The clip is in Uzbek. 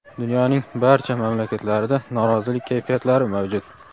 dunyoning barcha mamlakatlarida norozilik kayfiyatlari mavjud.